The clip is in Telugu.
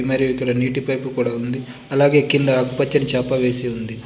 మరియు ఇక్కడ నీటి పైపు కూడా ఉంది అలాగే కింద ఆకుపచ్చని చాప వేసి ఉంది.